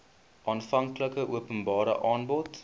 aanvanklike openbare aanbod